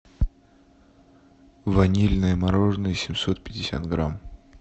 ванильное мороженое семьсот пятьдесят грамм